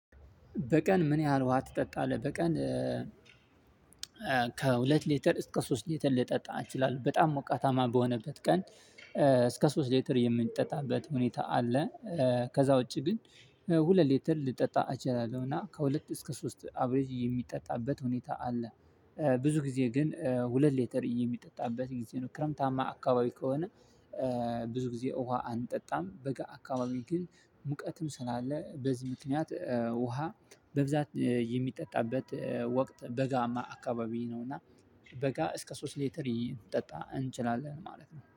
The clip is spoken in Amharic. በቀን ምን ያህል ውሃ ትጠጣለህ በቀን? ከሁለት ሊተር እስከ ሶስት ሊተር ልጠጣ እችላለሁ በጣም ሞቃታማ በሆነበት ቀን እስከ ሶስት ሌትር የምንጠጣበት ሁኔታ አለ። ከዛ ውጪ ግን ሁለት ሌተር ልጠጣ አችላለሁ እና ከሁለት እስከ ሶስት አብሬጅ የሚጠጣበት ሁኔታ አለ። ብዙ ጊዜ ግን ሁለት ሌተር የሚጠጣበት የጊዜ ነው ክረምታማ አካባቢ ከሆነ። ብዙ ጊዜ ውሃ አንጠጣም በጋ አካባቢ ግን ሙቀትም ስላለ በዚህ ምክንያት ውሃ በብዛት የሚጠጣበት ወቅት በጋማ አካባቢ ነው። እና በጋ እስከ ሶስት ሌተሪ ይጠጣ እንችላለን ማለት ነው